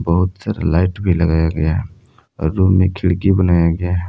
बहुत सारा लाइट भी लगाया गया है और रूम में खिड़की बनाया गया है।